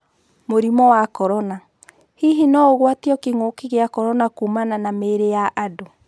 Mũrimũ wa Korona: Hihi no-ũgwatio kĩng'ũki gĩa Korona kuumana na mĩĩri yaandũ?